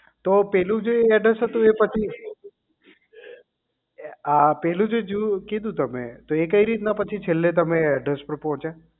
તો પેલું જે address હતું એ પછી આ પેલું જે જુ કીધું તમે તો એ કઈ રીતના પછી છેલ્લે તમે તો એ address પર પહોંચે